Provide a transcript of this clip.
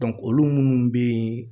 olu munnu bɛ yen